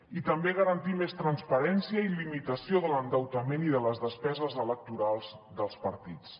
i també garantir més transparència i limitació de l’endeutament i de les despeses electorals dels partits